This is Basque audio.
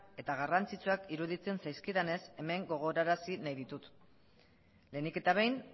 eta garrantzitsuak iruditzen zaizkidanez hemen gogorarazi nahi ditut lehenik eta behin